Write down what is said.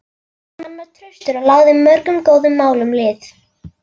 Hann var traustur og lagði mörgum góðum málum lið.